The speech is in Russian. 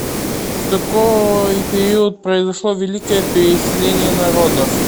в какой период произошло великое переселение народов